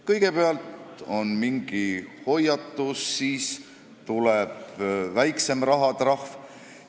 Kõigepealt on mingi hoiatus, siis tuleb väiksem rahatrahv.